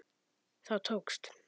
Það tókst.